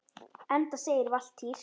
Enda segir Valtýr